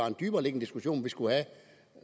en dybereliggende diskussion vi skulle have